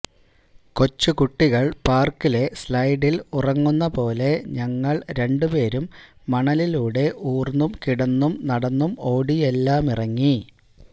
കൊച്ചുകുട്ടികള് പാര്ക്കിലെ സ്ലൈഡില് ഇറങ്ങുന്ന പോലെ ഞങ്ങള് രണ്ടു പേരും മണലിലൂടെ ഊര്ന്നും കിടന്നും നടന്നും ഓടിയുമെല്ലാമിറങ്ങി